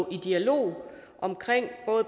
i dialog om